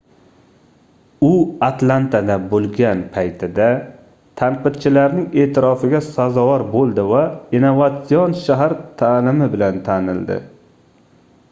u atlantada boʻlgan paytida tanqidchilarning eʼtirofiga sazovor boʻldi va innovatsion shahar taʼlimi bilan tanildi